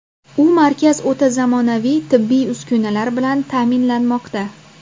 U markaz o‘ta zamonaviy tibbiy uskunalar bilan ta’minlanmoqda.